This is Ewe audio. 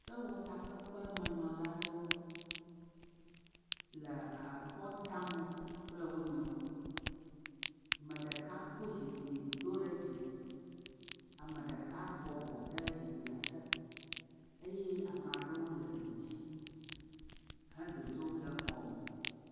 Sewɔtakpekpemenɔla aɖewo le akɔ dam kple wo nɔewo. Me ɖeka kɔ zikpi do ɖe dzi. Ame ɖeka bɔbɔ ɖe zikpia te eye amaa ɖewo le du dzi hedzodzom le xɔme.